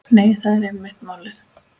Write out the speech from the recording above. Nei, það er einmitt málið.